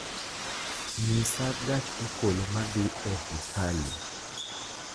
nyisa gach okolo ma dhi e hekalu